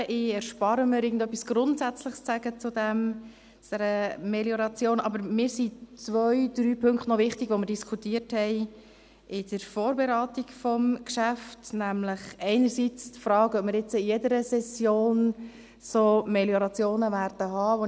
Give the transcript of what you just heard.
Ich erspare es mir, etwas Grundsätzliches zu dieser Melioration zu sagen, aber mir sind zwei, drei Punkte wichtig, die wir in der Vorberatung des Geschäfts diskutierten, nämlich einerseits die Frage, ob wir jetzt in jeder Session solche Meliorationen haben werden.